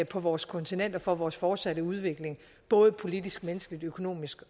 på vores kontinenter for vores fortsatte udvikling både politisk menneskeligt økonomisk